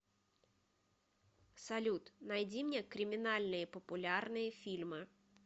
салют найди мне криминальные популярные фильмы